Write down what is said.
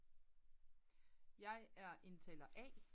jeg er indtaler a